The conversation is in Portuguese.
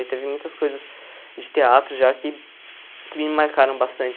E teve muitas coisas de teatro já que que me marcaram bastante.